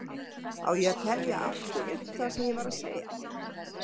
Á ég að telja aftur upp það sem ég var að segja?